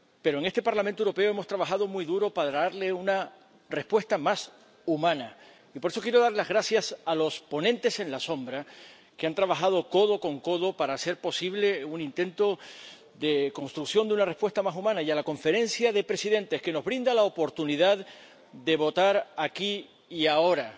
En este Parlamento Europeo hemos trabajado muy duro para darle una respuesta más humana y por eso quiero dar las gracias a los ponentes en la sombra, que han trabajado codo con codo para hacer posible un intento de construcción de una respuesta más humana, y a la Conferencia de Presidentes, que nos brinda la oportunidad de votar aquí y ahora.